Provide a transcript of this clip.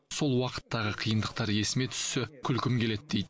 сол уақыттағы қиындықтар есіме түссе күлкім келеді дейді